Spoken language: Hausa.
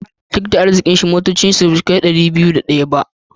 Duk da arzikin, motocin shi basu kai dubu biyu da dari biyu da daya ba.